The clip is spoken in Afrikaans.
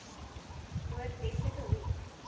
noord westelike hoek